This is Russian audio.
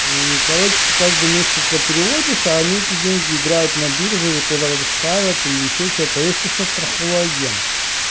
и короче ты каждый месяц это переводишь а они эти деньги играют на бирже и куда-то ставят или ещё что-то а есть ещё страховой агент